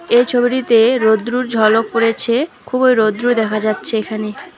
এই ছবিটিতে রৌদ্রুর ঝলক পড়েছে খুবই রৌদ্রু দেখা যাচ্ছে এখানে।